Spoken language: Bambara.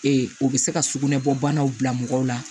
o bɛ se ka sugunɛ bɔdaw bila mɔgɔw la